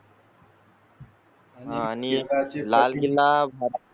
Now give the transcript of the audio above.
आणि लाल किल्ला.